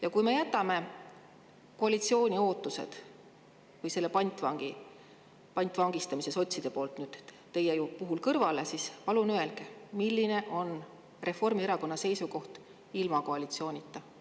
Ja kui me jätame koalitsiooni ootused või selle pantvangistamise sotside poolt nüüd teie puhul kõrvale, siis palun öelge, milline on Reformierakonna seisukoht ilma koalitsioonita.